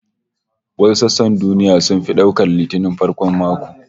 Wasu sassan duniya sun fi daukar Litinin farkon mako